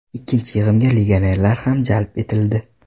Ikkinchi yig‘inga legionerlar ham jalb etildi.